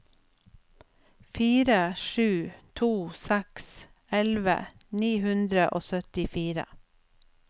fire sju to seks elleve ni hundre og syttifire